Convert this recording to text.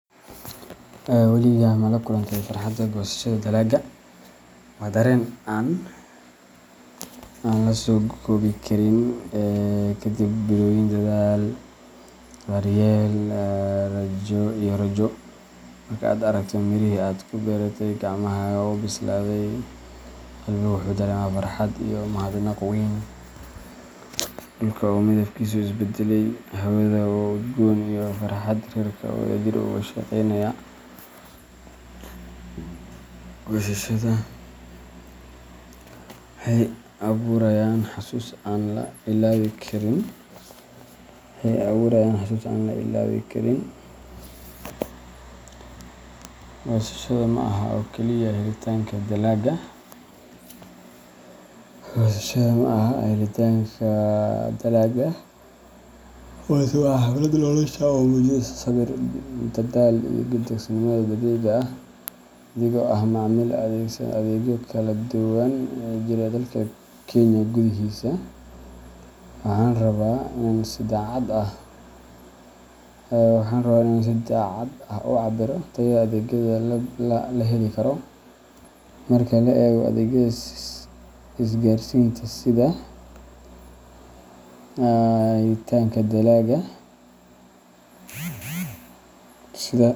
Weligaa ma la kulantay farxadda goosashada dalagga? Waa dareen aan la soo koobi karin! Ka dib bilooyin dadaal, daryeel, iyo rajo, marka aad aragto mirihii aad ku beeratay gacmahaaga oo bislaaday, qalbigu wuxuu dareemaa farxad iyo mahadnaq weyn. Dhulka oo midabkiisu is beddelay, hawada oo udgoon iyo farxadda reerka oo wadajir uga shaqeynaya goosashada waxay abuurayaan xasuus aan la ilaawi karin. Goosashada ma aha oo kaliya helitaanka dalagga, balse waa xaflad nolosha ah oo muujinaysa sabir, dadaal, iyo deeqsinimada dabiiciga ah. Anigoo ah macaamiil adeegsaday adeegyo kala duwan oo ka jira gudaha dalka Kenya, waxaan rabaa inaan si daacad ah u cabbiro tayada adeegyada la heli karo. Marka la eego adeegyada isgaarsiinta sida, helitaanka dalagga.